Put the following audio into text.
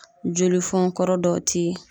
Joli fɔn kɔrɔ dɔw ti